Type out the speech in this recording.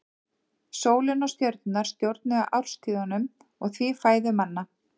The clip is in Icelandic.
Sólin og stjörnurnar stjórnuðu árstíðunum og því fæðu manna.